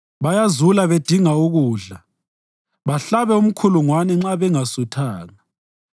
Bayazula bedinga ukudla bahlabe umkhulungwane nxa bengasuthanga.